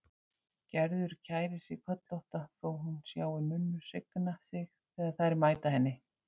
Gerður kærir sig kollótta þótt hún sjái nunnur signa sig þegar þær mæta henni.